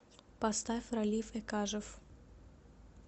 поставь ралиф экажев